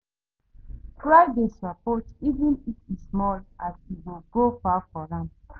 Try dey sopport even if e small as e go go far for am